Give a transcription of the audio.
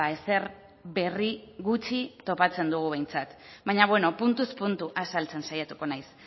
ezer berri gutxi topatzen dugu behintzat baina beno puntuz puntu azaltzen saiatuko naiz